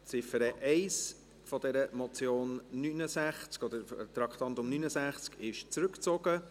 Die Ziffer 1 des Traktandums 69 ist zurückgezogen.